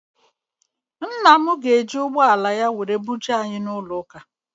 Ńnà mụ ga- eji ụgbọala ya wee buje anyị n' ụlọ ụka.